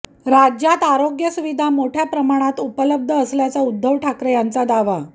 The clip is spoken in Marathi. राज्यात आरोग्य सुविधा मोठ्या प्रमाणात उपलब्ध असल्याचा उद्धव ठाकरे यांचा दावा